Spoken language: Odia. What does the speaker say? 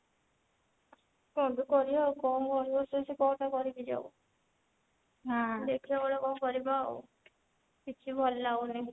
କଣ ଯେ କରିଆ ଆଉ କଣ ଘରେ ବସି ବସି କଣ ଟା କରିବି ଯେ ଆଉ ଦେଖିଆ ଗୋଟେ କଣ କରିବା ଆଉ କିଛି ଭଲ ଲାଗୁନି